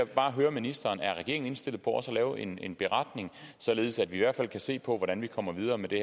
bare høre ministeren er regeringen indstillet på også at lave en en beretning således at vi i hvert fald kan se på hvordan vi kommer videre med det